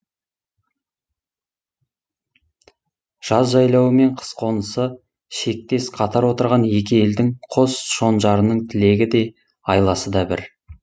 жаз жайлауы мен қыс қонысы шектес қатар отырған екі елдің қос шонжарының тілегі де айласы да бір